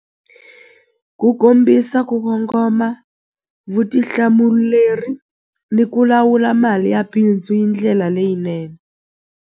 Ku kombisa ku kongoma vutihlamuleri ni ku lawula mali ya bindzu hi ndlela leyinene.